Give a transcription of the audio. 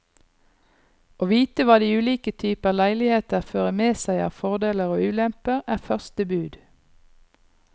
Å vite hva de ulike typer leiligheter fører med seg av fordeler og ulemper, er første bud.